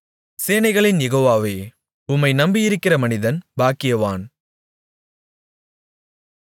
சேனைகளின் யெகோவாவே உம்மை நம்பியிருக்கிற மனிதன் பாக்கியவான்